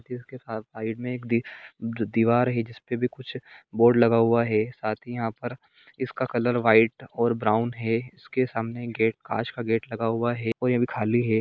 इसके साथ साइड में एक जो दिवार है जिसपे कुछ बोर्ड लगा हुआ है साथ ही यहां पर इसका कलर वाइट और ब्राउन है इसके सामने गेट कांच का गेट लगा हुआ है वो अभी खाली है।